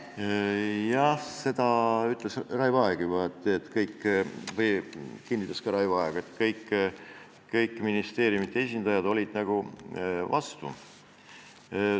Jah, seda ütles või kinnitas ka Raivo Aeg, et kõik ministeeriumide esindajad olid vastu.